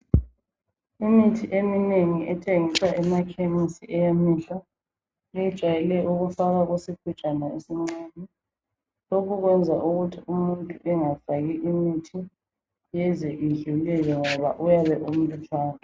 Imithi eminengi ethengiswa emakhemisi eyamehlo iyejwayele ukufakwa kusigujana esincane lokhu kwenza ukuthi umuntu engafaki imithi yenze idlulele ngoba uyabe umlutshwane